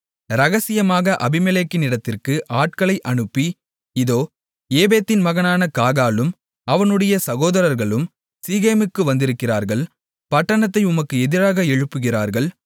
இரகசியமாக அபிமெலேக்கினிடத்திற்கு ஆட்களை அனுப்பி இதோ ஏபேதின் மகனான காகாலும் அவனுடைய சகோதரர்களும் சீகேமுக்கு வந்திருக்கிறார்கள் பட்டணத்தை உமக்கு எதிராக எழுப்புகிறார்கள்